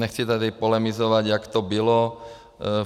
Nechci tady polemizovat, jak to bylo.